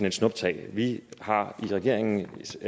et snuptag vi har i regeringens